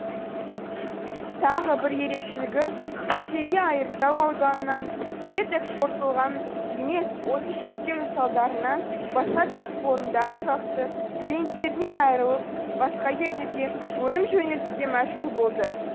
тағы бір ерекшелігі ресейге айыртау ауданынан ет экспортталған емес осы шектеудің салдарынан басқа кәсіпорындар тұрақты клиенттерінен айырылып басқа елдерге өнім жөнелтуге мәжбүр болды